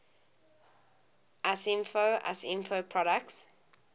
usinfo usinfo products